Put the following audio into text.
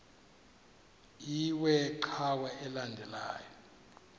iwe cawa elandela